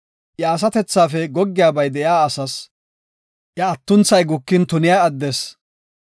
Iya asatethafe goggiyabay de7iya asas, iya atunathay gukin tuniya addes,